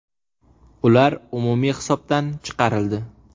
Ular umumiy hisobdan chiqarildi.